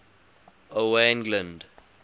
owain glynd